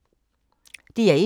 DR1